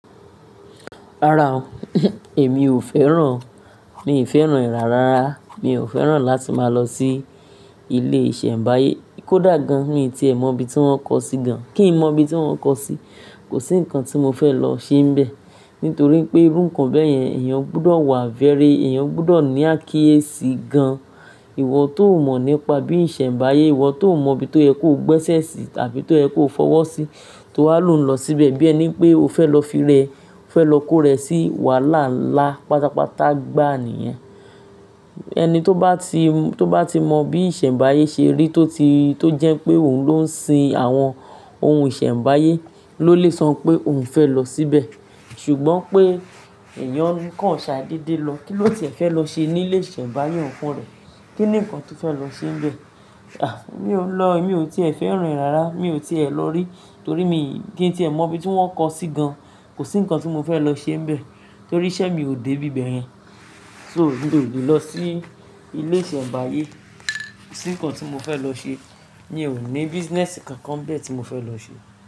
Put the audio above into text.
Rárá o, èmi ò fẹ́ràn, mi ò fẹ́ràn e rárá, mi ò fẹ́ràn láti máa lọ sí ilé ìsẹ̀mbáyé. Kódà gan-an tí ẹ mọ ibi tí wọ́n kọ sí gan, kí n mọ ibi tí wọ́n kọ sí, kò sí ǹkan tí mo fẹ́ lọ ṣe níbẹ̀. Nítorí pé irú ǹkan bẹ́yẹn èèyàn gbọdọ̀ wà very, èèyàn gbọdọ̀ ní akíyèsí gan-an. Ìwọ tó mọ̀ nípa bí ìsẹ̀mbáyé, ìwọ tó mọ̀ bí tó ẹ kó gbẹ́sẹ̀ sí tàbí tó ẹ kó fọwọ́ sí, tó wá lò ń lọ síbẹ̀ bí ẹni pé o fẹ́ lọ fi rẹ, o fẹ́ lọ kó rẹ sí wàhálà ńlá pátápátá gbá niyen. Ẹni tó bá ti mọ, tó bá ti mọ bí ìsẹ̀mbáyé ṣe rí tó ti, tó jẹ́ pé òun ló ń sin àwọn ohun ìsẹ̀mbáyé ló lè sọ pé òun fẹ́ lọ síbẹ̀. Ṣùgbọ́n pé èèyàn ń kàn ṣáà dedé lọ. Kí ló ti ẹ fẹ́ lọ ṣe ní ilé ìsẹ̀mbáyé òǹfunrẹ́? Kí ni ǹkan tí o fẹ́ lọ ṣe níbẹ̀? À, mi ò lọ, mi ò tiẹ̀ fẹ́ràn ìrárá, mi ò tiẹ̀ lọ rí. Torí mi, kí n tí ẹ mọ ibi tí wọ́n kọ sí gan, kò sí ǹkan tí mo fẹ́ lọ ṣe níbẹ̀. Torí iṣẹ́ mi ò dé bíbẹ̀ yẹ́n. So mi ò lè lọ sí ilé ìsẹ̀mbáyé. Kosí ǹkan tí mo fẹ́ lọ ṣe. Mi ò ní business kankan nbẹ́ẹ̀ tí mo fẹ́ lọ ṣe.